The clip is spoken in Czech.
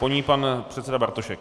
Po ní pan předseda Bartošek.